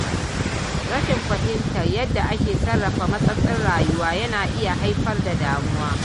Rashin fahimtar yadda ake sarrafa matsatsin rayuwa, yana iya haifar da damuwa.